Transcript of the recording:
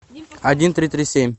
один три три семь